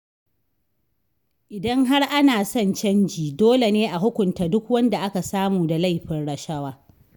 Idan har ana son canji, dole ne a hukunta duk wanda aka samu da laifin rashawa.